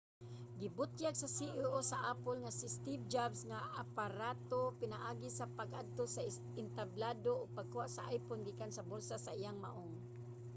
gibutyag sa ceo sa apple nga si steve jobs ang aparato pinaagi sa pag-adto sa entablado ug pagkuha sa iphone gikan sa bulsa sa iyang maong